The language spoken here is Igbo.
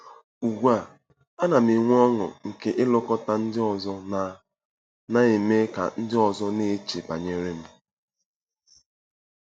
Ugbu a, ana m enwe ọṅụ nke ilekọta ndị ọzọ na na ime ka ndị ọzọ na-eche banyere m.